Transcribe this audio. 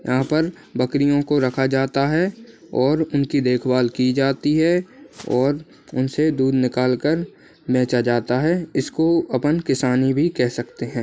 यहाँ पर बकरियों को रखा जाता है और उनकी देखभाल की जाती है और उनसे दूध निकाल कर बेचा जाता है इसको अपन किसानी भी कह सकते हैं।